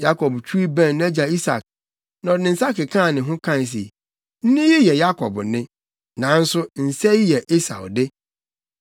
Yakob twiw bɛn nʼagya Isak, na ɔde ne nsa kekaa ne ho kae se, “Nne yi yɛ Yakob nne, nanso nsa yi yɛ Esau de.”